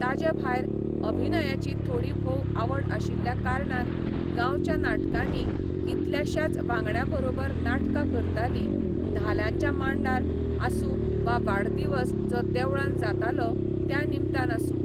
ताजे भायर अभिनयाची थोडी भोव आवड आशिल्ल्या कारणान गांवच्या नाटकांनी कितल्याश्याच वांगड्या बरोबर नाटकां करताली धाल्यांच्या मांडार आसूं वा वाडदिवस जो देवळान जातालो त्या निमतान आसूं.